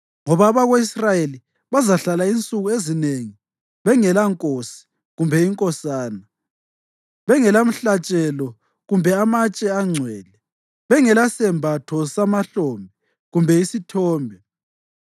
Ngoba abako-Israyeli bazahlala insuku ezinengi bengelankosi kumbe inkosana, bengelamhlatshelo kumbe amatshe angcwele, bengelasembatho semahlombe kumbe isithombe.